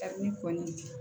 Kabini kɔɲɔ